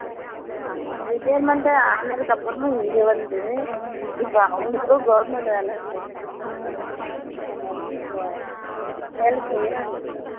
ஆமா retirement ஆனத்துக்கு அப்பறமும் இங்க வந்து இப்போ அவனுக்கும் government வேலை கொடுத்து இருக்காங்க army காரங்க வந்து இப்போ வேலை செய்றாங்க இப்போ